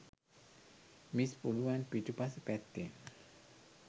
miss පුළුවන් පිටුපස පැත්තෙන්